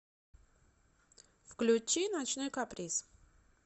включи ночной каприз